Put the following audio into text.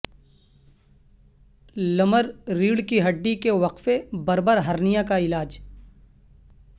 لمر ریڑھ کی ہڈی کے وقفے بربر ہرنیا کا علاج